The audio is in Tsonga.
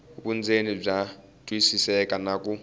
vundzeni bya twisiseka na ku